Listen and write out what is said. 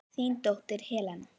Þín dóttir Helena.